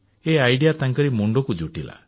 ଏହି ଭାବନା ତାଙ୍କରି ମୁଣ୍ଡରେ ଜୁଟିଲା